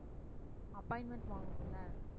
appointment வாங்கணுமில்ல.